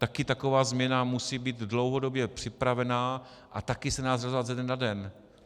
Taky taková změna musí být dlouhodobě připravená a taky se nedá udělat ze dne na den.